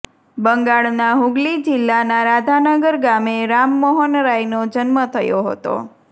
બંગાળના હુગલી જિલ્લાના રાધાનગર ગામે રામમોહન રાયનો જન્મ થયો હતો